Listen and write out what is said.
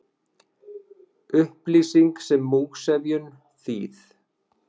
Upplýsing sem múgsefjun, þýð.